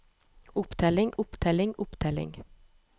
opptelling opptelling opptelling